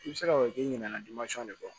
I bɛ se k'a fɔ k'i ɲininkali de b'a fɔ